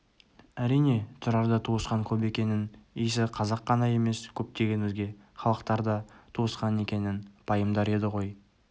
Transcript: әрине тұрарда туысқан көп екенін иісі қазақ қана емес көптеген өзге халықтар да туысқан екенін пайымдар еді ғой